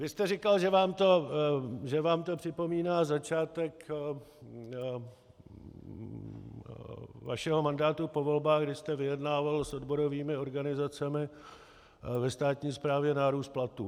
Vy jste říkal, že vám to připomíná začátek vašeho mandátu po volbách, kdy jste vyjednával s odborovými organizacemi ve státní správě nárůst platů.